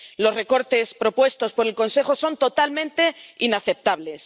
Los recortes propuestos por el Consejo son totalmente inaceptables.